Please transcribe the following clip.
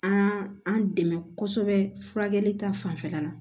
An an dɛmɛ kosɛbɛ furakɛli ta fanfɛla la